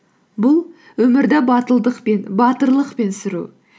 бұл өмірді батылдықпен батырлықпен сүру